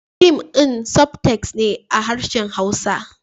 Fim din sub-text ne a harshen hausa